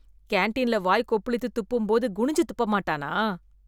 கேண்டீன்ல வாய் கொப்பளித்து துப்பும் போது குனிஞ்சு துப்ப மாட்டானா?